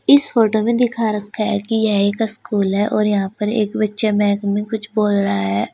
इस फोटो में दिखा रखा है कि यह एक स्कूल है और यहां पर एक बच्चा माइक में कुछ बोल रहा है।